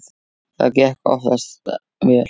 Það gekk oftast vel.